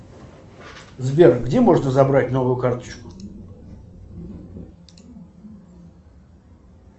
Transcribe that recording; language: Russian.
сбер где можно забрать новую карточку